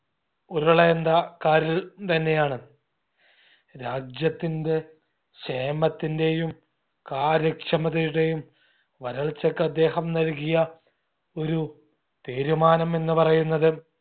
ഉരുളേണ്ട കാര്യം തന്നെയാണ്. രാജ്യത്തിൻറെ ക്ഷേമത്തിന്റെയും കാര്യക്ഷമതയുടെയും വരൾച്ചക്കദ്ദേഹം നൽകിയ ഒരു തീരുമാനം എന്ന് പറയുന്നത്